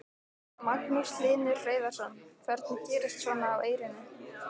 Magnús Hlynur Hreiðarsson: Hvernig gerist svona á Eyrinni?